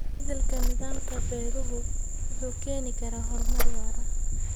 Isbeddelka nidaamka beeruhu wuxuu keeni karaa horumar waara.